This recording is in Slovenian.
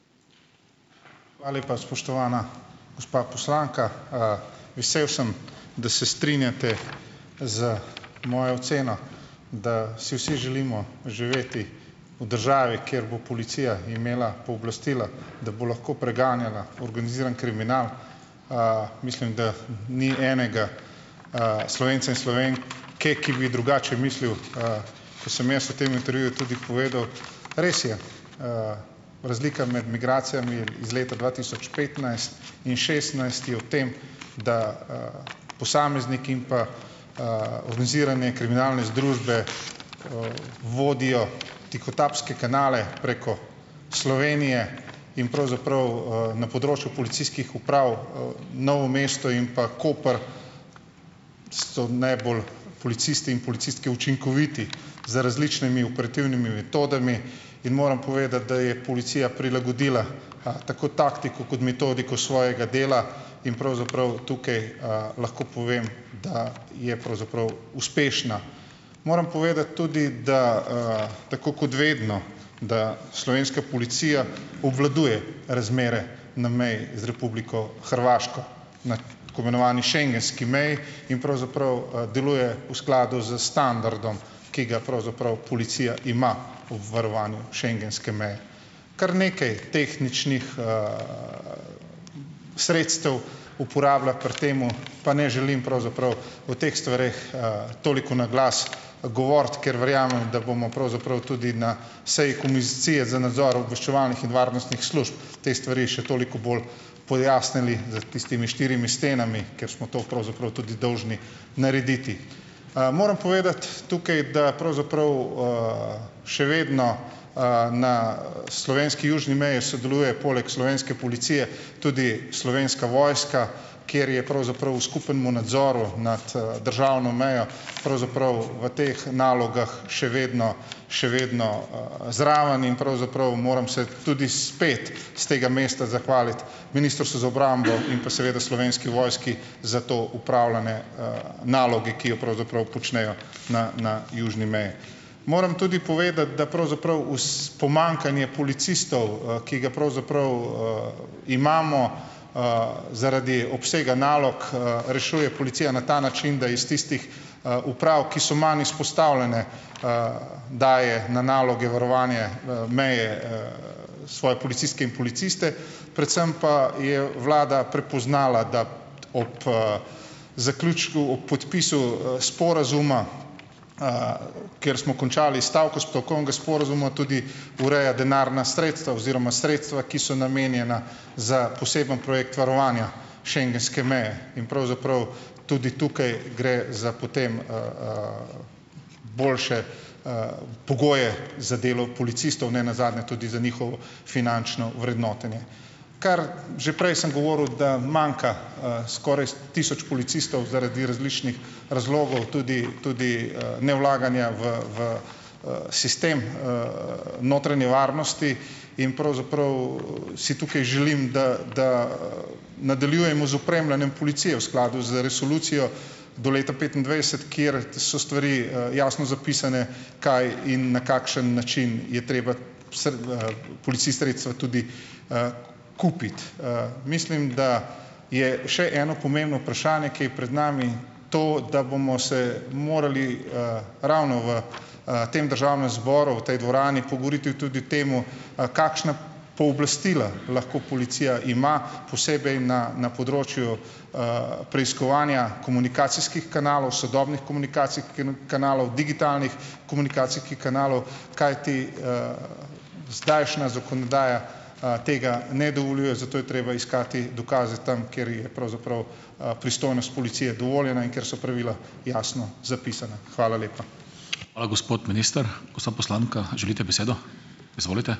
Hvala lepa, spoštovana gospa poslanka. Vesel sem, da se strinjate z mojo oceno, da si vsi želimo živeti v državi, kjer bo policija imela pooblastila, da bo lahko preganjala organizirani kriminal. Mislim, da ni enega, Slovenca in Slovenke, ki bi drugače mislil, kot sem jaz v tem intervjuju tudi povedal. Res je, razlika med migracijami iz leta dva tisoč petnajst in šestnajst je v tem, da, posamezniki in pa, organizirane kriminalne združbe, vodijo tihotapske kanale preko Slovenije in pravzaprav, na področju policijskih uprav, Novo mesto in pa Koper so najbolj policisti in policistke učinkoviti z različnimi operativnimi metodami. In moram povedati, da je policija prilagodila, tako taktiko kot metodiko svojega dela. In pravzaprav tukaj, lahko povem, da je pravzaprav uspešna. Moram povedati tudi, da, tako kot vedno, da slovenska policija obvladuje razmere na meji z Republiko Hrvaško na tako imenovani schengenski meji in pravzaprav, deluje v skladu s standardom, ki ga pravzaprav policija ima ob varovanju schengenske meje. Kar nekaj tehničnih, sredstev uporablja pri tem, pa ne želim pravzaprav o teh stvareh, toliko na glas, govoriti, ker verjamem, da bomo pravzaprav tudi na seji Komisije za nadzor obveščevalnih in varnostnih služb te stvari še toliko bolj pojasnili za tistimi štirimi stenami, ker smo to pravzaprav tudi dolžni narediti. Moram povedati tukaj, da pravzaprav, še vedno, na, slovenski južni meji sodeluje poleg slovenske policije tudi Slovenska vojska, kjer je pravzaprav v skupnemu nadzoru nad, državno mejo pravzaprav v teh nalogah še vedno, še vedno, zraven in pravzaprav moram se tudi spet s tega mesta zahvaliti Ministrstvu za obrambo in pa seveda Slovenski vojski za to opravljanje, naloge, ki je pravzaprav počnejo na na južni meji. Moram tudi povedati, da pravzaprav pomanjkanje policistov, ki ga pravzaprav, imamo, zaradi obsega nalog, rešuje policija na ta način, da iz tistih, uprav, ki so manj izpostavljene, daje na naloge varovanje, meje, svoje policistke in policiste, predvsem pa je vlada prepoznala, da ob, zaključku, ob podpisu, sporazuma, kjer smo končali stavko stavkovnega sporazuma, tudi ureja denarna sredstva oziroma sredstva, ki so namenjena za poseben projekt varovanja schengenske meje in pravzaprav tudi tukaj gre za potem, boljše, pogoje za delo policistov, ne nazadnje tudi za njihovo finančno vrednotenje. Kar, že prej sem govoril, da manjka, skoraj tisoč policistov zaradi različnih razlogov, tudi tudi, nevlaganja v v, sistem, notranje varnosti in pravzaprav si tukaj želim, da da nadaljujemo z opremljanjem policije v skladu z resolucijo do leta petindvajset, kjer so stvari, jasno zapisane, kaj in na kakšen način je treba policist sredstva tudi, kupiti. Mislim, da je še eno pomembno vprašanje, ki je pred nami, to, da bomo se morali, ravno v, tem državnem zboru, v tej dvorani pogovoriti tudi tem, kakšna pooblastila lahko policija ima posebej na na področju, preiskovanja komunikacijskih kanalov, sodobnih komunikacijskih kanalov, digitalnih komunikacijskih kanalov, kajti, zdajšnja zakonodaja, tega ne dovoljuje, zato je treba iskati dokaze tam, kjer je pravzaprav, pristojnost policije dovoljena in kjer so pravila jasno zapisana. Hvala lepa.